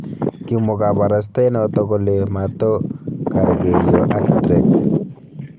Kimwo kabarastaenoto kole: "Mato gargeiyo ak Drake".